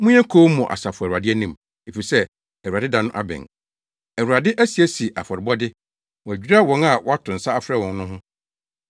Monyɛ komm wɔ Asafo Awurade anim, efisɛ, Awurade da no abɛn. Awurade asiesie afɔrebɔde; wadwira wɔn a wato nsa afrɛ wɔn no ho.